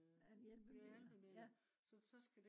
af hjælpemidler ja